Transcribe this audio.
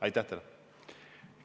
Aitäh teile!